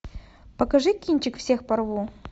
покажи кинчик всех порву